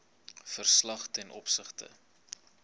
verslag ten opsigte